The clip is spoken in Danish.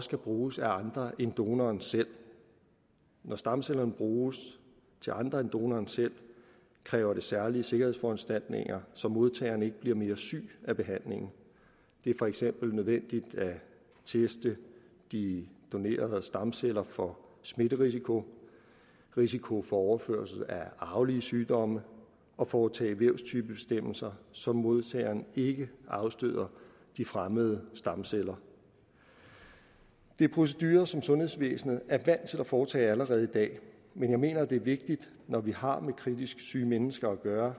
skal bruges til andre end donoren selv når stamcellerne bruges til andre end donoren selv kræver det særlige sikkerhedsforanstaltninger så modtageren ikke bliver mere syg af behandlingen det er for eksempel nødvendigt at teste de donerede stamceller for smitterisiko risiko for overførelse af arvelige sygdomme og foretage vævstypebestemmelser så modtageren ikke afstøder de fremmede stamceller det er procedurer som sundhedsvæsenet er vant til at foretage allerede i dag men jeg mener det er vigtigt når vi har med kritisk syge mennesker at gøre